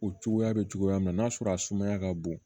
O cogoya bɛ cogoya min na n'a sɔrɔ a sumaya ka bon